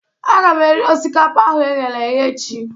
A ga m eri osikapa ahụ e ghere eghe echi